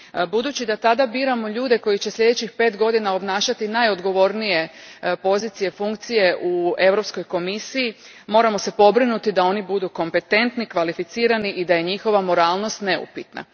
Budući da tada biramo ljude koji će sljedećih pet godina obnašati najodgovornije pozicije i funkcije u Europskoj komisiji, moramo se pobrinuti da oni budu kompetentni, kvalificirani i da je njihova moralnost neupitna.